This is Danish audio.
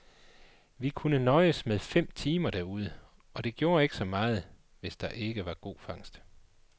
Vi kunne nøjes med fem timer derude, og det gjorde ikke så meget, hvis der ikke var god fangst.